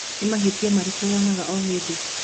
nĩ mahitĩa marĩkũ wĩkaga o ĩhĩnda